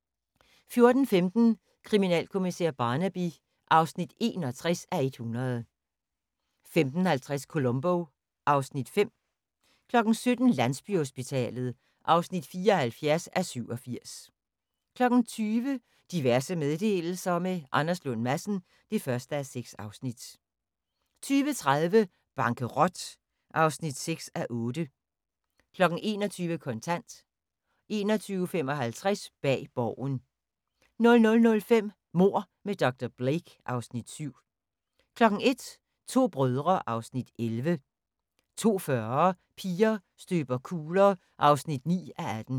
14:15: Kriminalkommissær Barnaby (61:100) 15:50: Columbo (Afs. 5) 17:00: Landsbyhospitalet (74:87) 20:00: Diverse meddelelser – med Anders Lund Madsen (1:6) 20:30: Bankerot (6:8) 21:00: Kontant 21:55: Bag Borgen 00:05: Mord med dr. Blake (Afs. 7) 01:00: To brødre (Afs. 11) 02:40: Piger støber kugler (9:18)